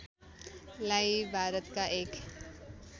लाई भारतका एक